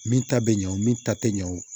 Min ta bɛ ɲɛ o min ta tɛ ɲɛ o